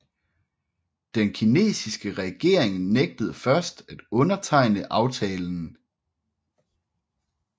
Den kinesiske regering nægtede først at undertegne aftalen